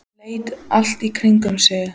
Hann leit allt í kringum sig.